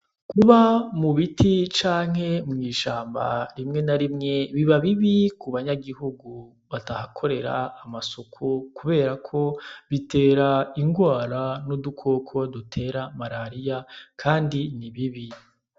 Kuba mu biti canke mw’ishamba rimwe na rimwe biba bibi ku banyagihugu batahakorera amasuku kubera ko bitera indwara n’udukoko dutera mararia kandi ni bibi.